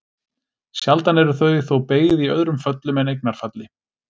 Sjaldan eru þau þó beygð í öðrum föllum en eignarfalli.